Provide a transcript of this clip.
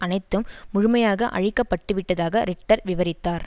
அனைத்தும் முழுமையாக அழிக்கப்பட்டுவிட்டதாக ரிட்டர் விவரித்தார்